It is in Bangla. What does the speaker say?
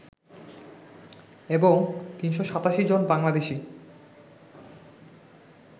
এবং ৩৮৭ জন বাংলাদেশি